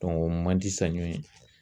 o man di saɲɔ ye.